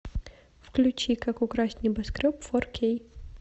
включи как украсть небоскреб фор кей